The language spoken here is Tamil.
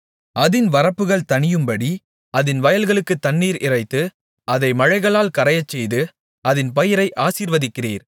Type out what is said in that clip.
அதின் வரப்புகள் தணியும்படி அதின் வயல்களுக்குத் தண்ணீர் இறைத்து அதை மழைகளால் கரையச்செய்து அதின் பயிரை ஆசீர்வதிக்கிறீர்